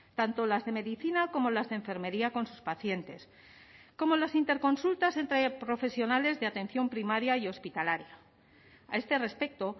tanto las de medicina como las de enfermería con sus pacientes como las interconsultas entre profesionales de atención primaria y hospitalaria a este respecto